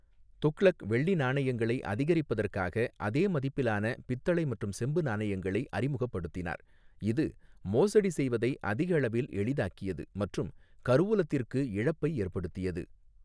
துக்ளக் வெள்ளி நாணயங்களை அதிகரிப்பதற்காக அதே மதிப்பிலான பித்தளை மற்றும் செம்பு நாணயங்களை அறிமுகப்படுத்தினார், இது மோசடி செய்வதை அதிகளவில் எளிதாக்கியது மற்றும் கருவூலத்திற்கு இழப்பை ஏற்படுத்தியது.